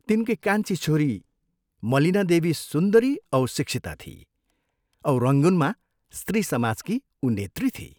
तिनकी कान्छी छोरी मलिनादेवी सुन्दरी औ शिक्षिता थिई औ रंगूनमा स्त्री समाजकी उ नेत्री थिई।